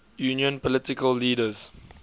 union political leaders